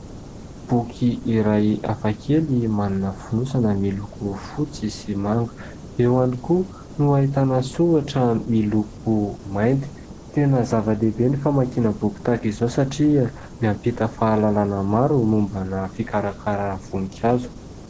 Boky iray hafa kely manana fonosana miloko fotsy sy manga. Eo ihany koa no ahitana soratra miloko mainty. Tena zava-dehibe ny famakiana boky tahaka izao satria mampita fahalalana maro mombana fikarakarana voninkazo.